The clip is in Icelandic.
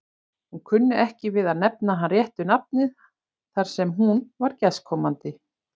Hún kunni ekki við að nefna hann réttu nafni þar sem hún var gestkomandi.